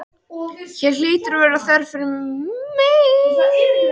Ég er bara að hugsa mig um.